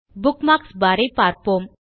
bookmarks bar ஐ பார்ப்போம்